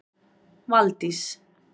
Valdís